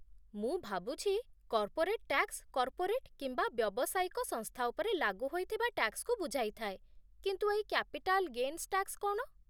ମୁଁ ଭାବୁଛି corporate tax corporate କିମ୍ବା ବ୍ୟବସାୟିକ ସଂସ୍ଥା ଉପରେ ଲାଗୁ ହୋଇଥିବା ଟ୍ୟାକ୍ସକୁ ବୁଝାଇ ଥାଏ, କିନ୍ତୁ ଏଇ କ୍ୟାପିଟାଲ୍ ଗେନ୍ସ ଟ୍ୟାକ୍ସ କ'ଣ?